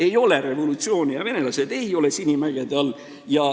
Ei ole revolutsiooni ja venelased ei ole Sinimägede all.